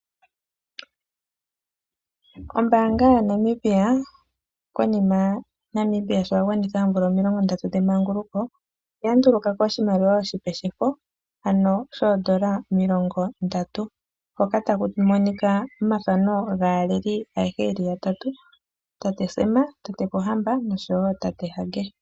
Ombaanga yaNamibia konima Namibia sho a gwanitha omvula omilongo ndatu dhemanguluko oya nduluka po oshimaliwa oshipe shefo, ano shoondola omilongo ndatu hoka taku monika oomathano gaaleli ayehe yeli yatatu Tate Sam, Tate Pohamba nosho wo Tate Hage.